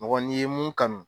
Mɔgɔ n'i ye mun kanu